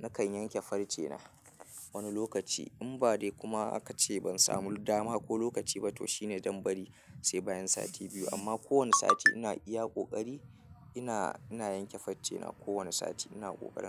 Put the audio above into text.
nakan yanke farce na wani lokaci. In ba dai kuma aka ce ban samu dama ko lokaci ba to shine zan bari sai bayan sati biyu. Amma ko wane sati ina iya ƙoƙari, ina, ina yanke farce na. Ko wane sati ina ƙoƙarin.